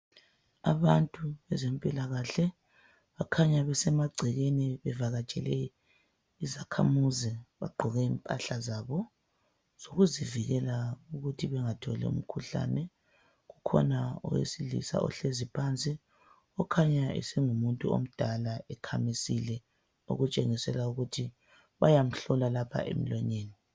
Abantu bezempilakahle bukhanya kusemagcekeni bevakatshele izakhamuzi bagqoke impahla zabo zokuzivikela ukuthi bengatholi umkhuhlane kukhona owesilisa ohlezi phansi kukhanya esengumuntu omdala esekhamisile okutshengisela ukuthi bayamhlola lapha emlonyeni.